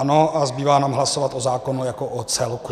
Ano a zbývá nám hlasovat o zákonu jako o celku.